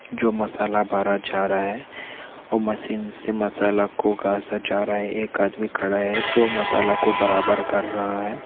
जो मसाला गाजा जा रहा है और मशीन से मसाला को गासा जा रहा है एक आदमी खड़ा है जो मसाला को बराबर कर रहा हैं ।